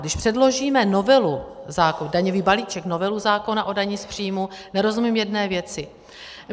Když předložíme novelu zákona, daňový balíček, novelu zákona o dani z příjmu, nerozumím jedné věci.